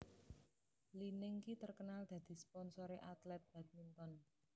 Li Ning ki terkenal dadi sponsore atlet badminton